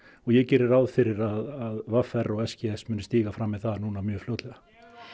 og ég geri ráð fyrir að v r og s g s muni stíga fram með það mjög fljótlega